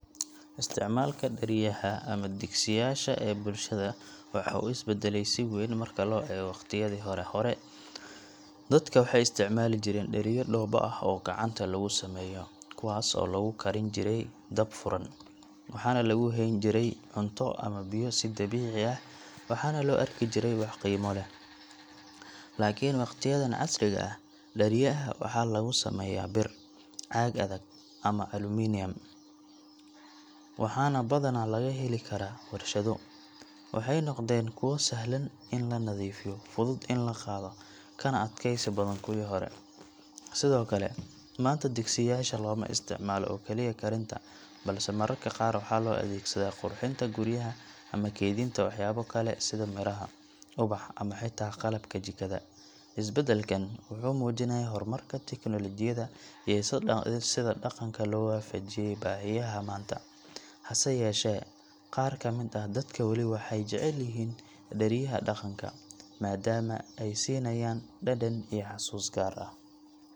Isticmaalka dhariyaha ama digsiyaasha ee bulshada waxaa uu isbeddelay si weyn marka loo eego waqtiyadii hore. Hore, dadka waxay isticmaali jireen dhariyo dhoobo ah oo gacanta lagu sameeyo, kuwaas oo lagu karin jiray dab furan. Waxaana lagu hayn jiray cunto ama biyo si dabiici ah, waxaana loo arki jiray wax qiimo leh. Laakiin waqtiyadan casriga ah, dhariyaha waxaa lagu sameeyaa bir, caag adag, ama aluminium, waxaana badanaa laga heli karaa warshado. Waxay noqdeen kuwo sahlan in la nadiifiyo, fudud in la qaado, kana adkaysi badan kuwii hore. Sidoo kale, maanta digsiyaasha looma isticmaalo oo kaliya karinta, balse mararka qaar waxaa loo adeegsadaa qurxinta guryaha ama keydinta waxyaabo kale sida miro, ubax, ama xitaa qalabka jikada. Isbeddelkan wuxuu muujinayaa horumarka teknolojiyadda iyo sida dhaqanka loo waafajiyay baahiyaha maanta. Hase yeeshee, qaar ka mid ah dadka weli waxay jecel yihiin dhariyaha dhaqanka, maadaama ay siinayaan dhadhan iyo xusuus gaar ah.